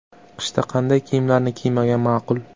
Qishda qanday kiyimlarni kiymagan ma’qul?.